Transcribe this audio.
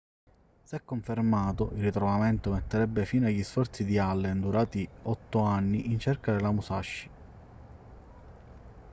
se confermato il ritrovamento metterebbe fine agli sforzi di allen durati otto anni in cerca della musashi